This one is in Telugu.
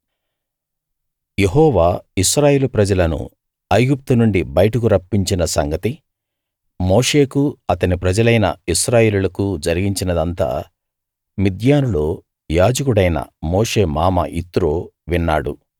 యెహోవా ఇశ్రాయేలు ప్రజలను ఐగుప్తు నుండి బయటకు రప్పించిన సంగతి మోషేకు అతని ప్రజలైన ఇశ్రాయేలీయులకు జరిగించినదంతా మిద్యానులో యాజకుడైన మోషే మామ యిత్రో విన్నాడు